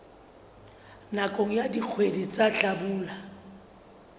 nakong ya dikgwedi tsa hlabula